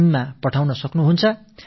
in இலோ அனுப்பலாம்